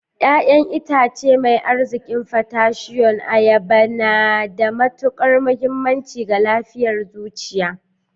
Ya'yan itace mai arzikin potassium, ayaba na da matukar muhimmanci ga lafiyar zuciya.